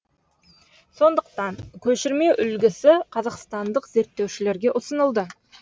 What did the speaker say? сондықтан көшірме үлгісі қазақстандық зерттеушілерге ұсынылды